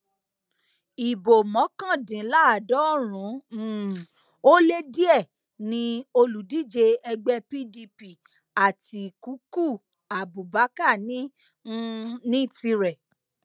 ibo mọkàndínláàádọrùn um ó lé díẹ ni olùdíje ẹgbẹ pdp àtikukú abubakar ní um ní tirẹ